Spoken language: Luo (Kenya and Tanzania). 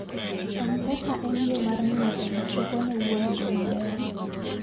m-pesa en yo mar miyo pesa chopo ne wuon go maber